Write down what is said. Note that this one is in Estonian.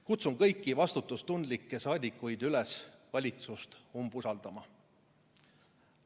Kutsun kõiki vastutustundlikke saadikuid üles valitsust umbusaldama.